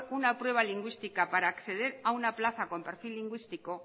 una prueba lingüística para acceder a una plaza con perfil lingüístico